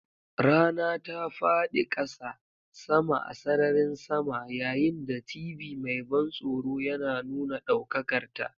Rana ta faɗi ƙasa, sama a sararin sama, yayin da TV mai ban tsoro yana nuna ɗaukakarta.